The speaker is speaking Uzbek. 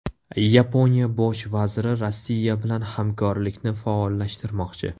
Yaponiya Bosh vaziri Rossiya bilan hamkorlikni faollashtirmoqchi.